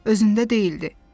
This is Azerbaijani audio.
Özündə deyildi.